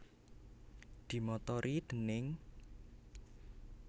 Dimotori déning